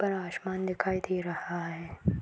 ऊपर आसमान दिखाई दे रहा है।